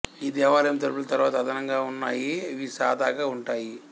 ఈ దేవాలయం తలుపులు తరువాత అదనంగా ఉన్నాయి ఇవి సాదాగా ఉంటాయి